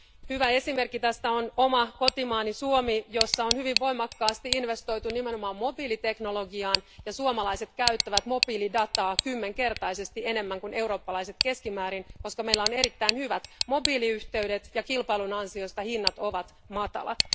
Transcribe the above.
Hyvä esimerkki tästä on oma kotimaani Suomi, jossa on hyvin voimakkaasti investoitu nimenomaan mobiiliteknologiaan, ja suomalaiset käyttävät mobiilidataa kymmenkertaisesti enemmän kuin eurooppalaiset keskimäärin, koska meillä on erittäin hyvät mobiiliyhteydet, ja kilpailun ansiosta hinnat ovat matalat.